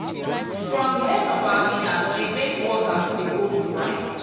strong head of our leaders dey make workers dey go strike.